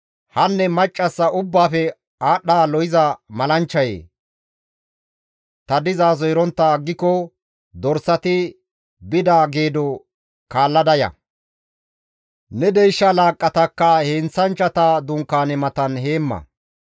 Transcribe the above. «Haa macca ubbaafe aadhdha lo7iza malanchchayee! Ta dizaso erontta aggiko dorsati bida geedo kaallada ya; ne deysha laaqqatakka heenththanchchata dunkaane matan heemma.»